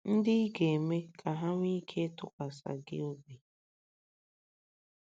ndị ị ga - eme ka ha nwee ike ịtụkwasị gị obi?